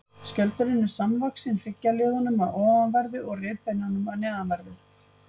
Skjöldurinn er samvaxinn hryggjarliðunum að ofanverðu og rifbeinunum að neðanverðu.